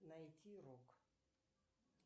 найти рок